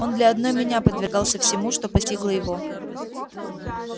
он для одной меня подвергался всему что постигло его